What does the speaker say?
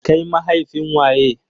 Kai mahaifin waye?